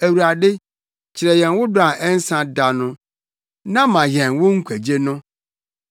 Awurade, kyerɛ yɛn wo dɔ a ɛnsa da no, na ma yɛn wo nkwagye no.